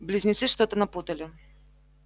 близнецы что-то напутали